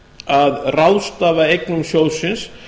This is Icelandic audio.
að ráðstafa eignum sjóðsins